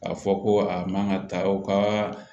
K'a fɔ ko a man ka ta aw ka